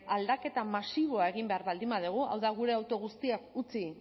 aldaketa masiboa egin behar baldin badugu hau da gure auto guztiak utzi